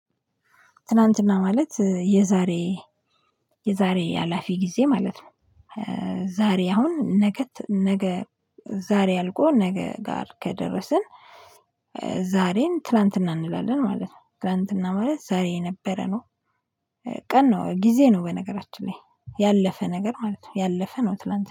ትላንትና ማለት የዛሬ የዛሬ አላፊ ጊዜ ማለት ነው። ዛሬ አሁን ነገ ነገ ዛሬ አልቆ ነገ ጋር ከደረስን ዛሬን ትላንትና እንላለን ማለት ነው። ትላንትና ማለት ዛሬ የነበረ ነው ቀን ነው ጊዜ ነው በነገራችን ላይ ያለፈ ነገር ማለት ነው ያለፈ ነው ትላንት